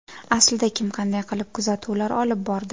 Aslida kim qanday qilib kuzatuvlar olib bordi?